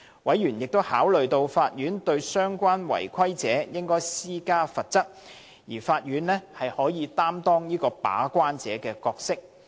委員亦考慮到，法院對相關違規者施加適當的罰則，可擔當"把關者"的角色。